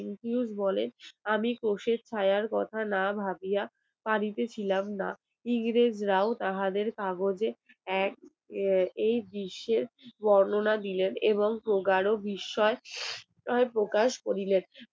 আমি কোষের কথা না ভাবিয়া পারিতে ছিলাম না। ইংরেজ রাউন্ড কাগজে এক দৃশ্যের বর্ণনা দিলেন এবং বুঝারও বিষয় , তাই প্রকাশ করিলেন।